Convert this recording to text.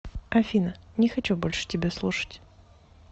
афина не хочу больше тебя слушать